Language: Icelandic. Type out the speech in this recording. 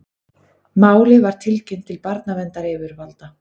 Málið var tilkynnt til barnaverndaryfirvalda